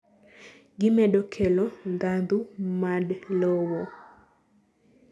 gimedo kelo ndhandhu mad lowo